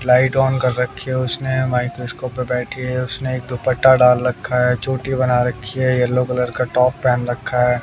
Light on कर रखी है उसने माइक्रोस्कोप पे बैठी है उसने एक दुपट्टा डाल रखा है चोटी बना रखी है येलो कलर का टॉप पेहन रखा है।